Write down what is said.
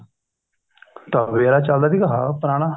ਤਵੇ ਵਾਲਾ ਚੱਲਦਾ ਸੀਗਾ ਹਾਂ ਪੁਰਾਣਾ